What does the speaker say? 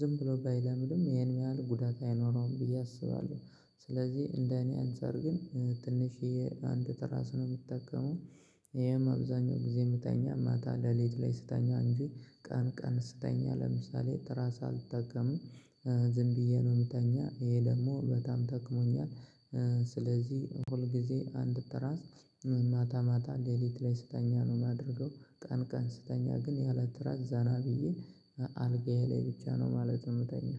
ዝም ብሎ ባይለምድም ይሄን ያህል ጉዳት አይኖረውም ብዬ አስባለሁ። ስለዚህ እንደ እኔ አንፃር ግን ትንሽዬ አንድ ጥራስ ነው ምጠቀመው። ይሄም አብዛኛው ጊዜ ምተኛ ማታ ለሌት ላይ ስተኛ እንጂ ቀን ቀን ስተኛ ለምሳሌ ትራስ አልጠቀምም። ዝም ብዬ ነው ምተኛ ይሄ ደግሞ በጣም ጠቅሞኛል። ስለዚህ ሁል ጊዜ አንድ ትራስ ማታ ማታ ሌሊት ላይ ስተኛ ነው ማደርገው። ቀን ቀን ስተኛ ግን ያለ ትራስ ዘና ብዬ አልጋዬ ላይ ብቻ ነው ማለትም ምተኛው